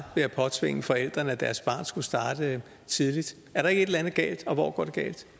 ved at påtvinge forældrene at deres barn skulle starte tidligt er der ikke et eller andet galt og hvor går